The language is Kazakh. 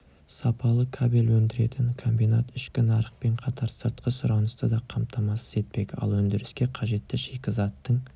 сапалы кабель өндіретін комбинат ішкі нарықпен қатар сыртқы сұранысты да қамтамасыз етпек ал өндіріске қажетті шикізаттың